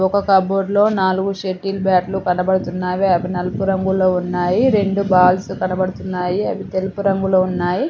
ఒక కబోర్డ్ లో నాలుగు షెటిల్ బ్యాట్లు కనబడుతున్నావి. అవి నలుపు రంగులో ఉన్నాయి. రెండు బాల్స్ కనబడుతున్నాయి. అవి తెలుపు రంగులో ఉన్నాయి.